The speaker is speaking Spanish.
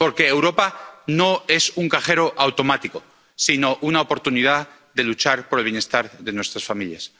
Porque Europa no es un cajero automático, sino una oportunidad de luchar por el bienestar de nuestras familias.